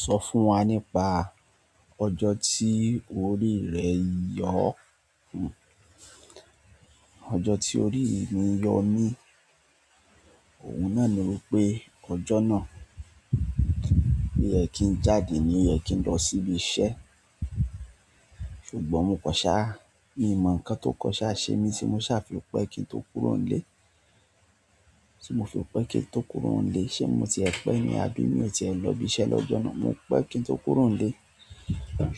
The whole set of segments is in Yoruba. Sọ fún wa nípa ọjọ́ tí orí rẹ yọ, ọjọ́ tí orí mi yọ mí, òun náà ni wípé ọjọ́ náà pé oyẹ kí n jáde ní oyẹ kí n lọ sí ibi iṣẹ́. Ṣùgbọ́n mo kọṣa, mi ò mọ ǹkan tó kọṣa ṣe mi ti mo ṣàfi pé kí n tó kúrò nílé, tí mo fi pé kí n tó kúrò nílé. Ṣé mo ti ẹ pé mi, àbí mí ò tiẹ̀ lọ ibi iṣẹ́ lọ́jọ́ náà? Mo pẹ́ kí n tó kúrò nílé.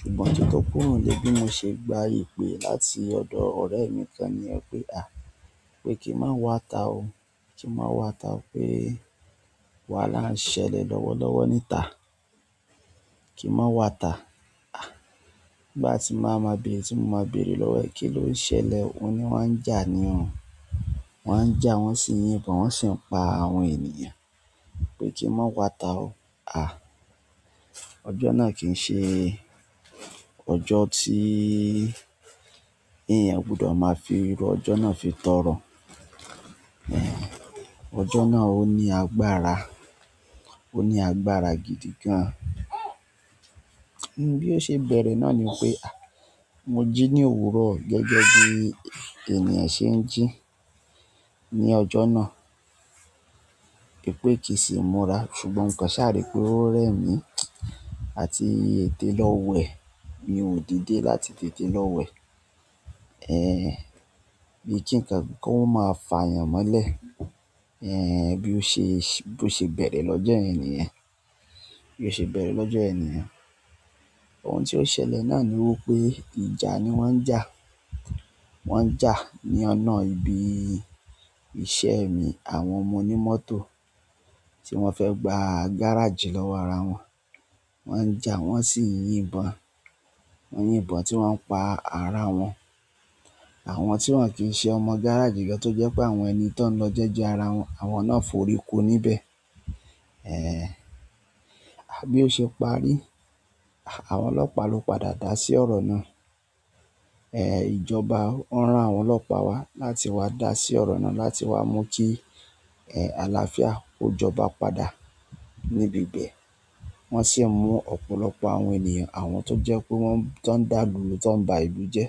Ṣùgbọ́n kí n tó kúrò nílé bí mo ṣe gba ìpè láti ọ̀dọ̀ ọ̀rẹ́ mi kan ni yẹ̀ pé à, pé kí n má wáta o, kí n má wáta o pé wa là ń ṣẹlẹ̀ lọ́wọ́lọ́wọ́ níta. Kí n má wáta. À, ìgbà ti máa ma bèrè tí mo máa bèrè lọ́wọ́ ẹ kí ló ń ṣẹlẹ̀? Ó ní wọ́n ń jà ni o. Wọ́n ń jà, wọ́n sì ń yín ìbọn, wọ́n sì ń pa àwọn ènìyàn. Pé kí n má wáta o. À, ọjọ́ náà kì í ṣe ọjọ́ tí ènìyàn gbudọ̀ máa fi irú ọjọ́ náà fi tọrọ. Ẹ̀, ọjọ́ náà ó ní agbára, ó ní agbára gidi gan. Bí ó ṣe bẹ̀rẹ̀ náà ni wípé à, mo jí ní òwúrọ̀ gẹ́gẹ́ bí ènìyàn ṣe ń jí ní ọjọ́ náà. Pè kì í sì múra, ṣùgbọ́n mo kan ṣàrí pé ó rẹ̀ mí àti ètè lọ wẹ̀. Mi ò dìde láti tètè lọ wẹ̀. Ẹ̀, bí i kí ǹkan kí wọ́n máa fà yàn mọ́lẹ̀. Ẹ̀, bí ó ṣe, bí ó ṣe bẹ̀rẹ̀ lọ́jọ́ ènìyàn, bí ó ṣe bẹ̀rẹ̀ lọ́jọ́ ènìyàn. Ohun tí ó ṣẹlẹ̀ náà ni wípé ìjà ni wọ́n ń jà. Wọ́n ń jà ní ọ̀nà ibi iṣẹ́ mi àwọn ọmọ onímọ́tò tí wọ́n fẹ́ gba gáràjì lọ́wọ́ ara wọn. Wọ́n ń jà, wọ́n sì ń yín ìbọn. Wọ́n ń yín ìbọn tí wọ́n ń pa ara wọn. Àwọn tí wọ́n kì í ṣe ọmọ gáràjì gan tó jẹ́ pé àwọn ẹni tó ń lọ jẹ́ jẹ ara wọn, àwọn náà foríko níbẹ̀. Ẹ̀, à bí ó ṣe parí? Àwọn ọlọ́pàá ló padà dá sí ọ̀rọ̀ náà. Ẹ̀, ìjọba ó ran àwọn ọlọ́pàá wa láti wá dá sí ọ̀rọ̀ náà láti wá mú kí ẹ̀, àlàáfíà kó joba padà níbi ibẹ̀. Wọ́n sì mú ọ̀pọ̀lọpọ̀ àwọn ènìyàn, àwọn tó jẹ́ pé wọ́n tó ń dá lùrù tó ń ba ìlú jẹ́.